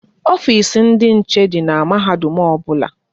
Ofisi ndị nche dị n'mahadum ọbụla